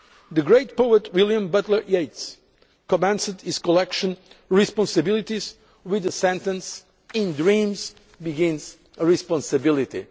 to come. The great poet William Butler Yeats commenced his collection Responsibilities' with the sentence In dreams begins responsibility'.